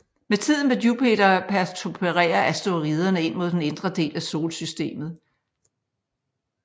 Med tiden vil Jupiter pertubere asteroiderne ind mod den indre del af solsystemet